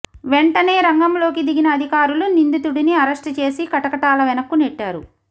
వెంటనే రంగంలోకి దిగిన అధికారులు నిందితుడిని అరెస్ట్ చేసి కటకటాల వెనక్కు నెట్టారు